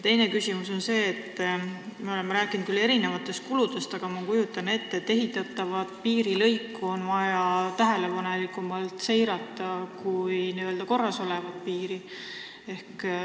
Teine küsimus on see, et me oleme küll rääkinud erinevatest kuludest, aga ma kujutan ette, et alles ehitatavat piirilõiku on vaja tähelepanelikumalt seirata kui juba valmis olevat piiri.